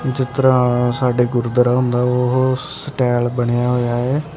ਜਿਸ ਤਰਾਂ ਸਾਡੇ ਗੁਰਦੁਆਰਾ ਹੁੰਦਾ ਉਹ ਸਟਾਇਲ ਬਣਿਆ ਹੋਇਆ ਹ ।